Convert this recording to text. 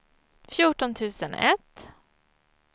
fjorton tusen ett